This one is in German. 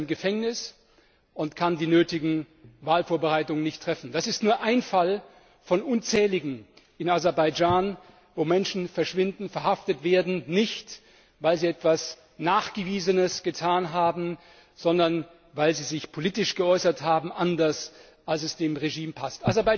Seither ist er im Gefängnis und kann die nötigen Wahlvorbereitungen nicht treffen. Das ist nur einer von unzähligen Fällen in Aserbaidschan, wo Menschen verschwinden, verhaftet werden, nicht weil sie etwas Nachgewiesenes getan haben, sondern weil sie sich politisch anders geäußert haben, als es dem Regime passt.